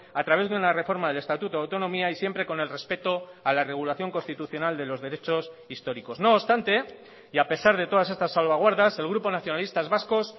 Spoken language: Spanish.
a través de una reforma del estatuto de autonomía y siempre con el respeto a la regulación constitucional de los derechos históricos no obstante y a pesar de todas estas salvaguardas el grupo nacionalistas vascos